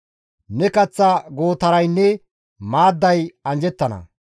Ne kaththa gootaraynne maadday anjjettana.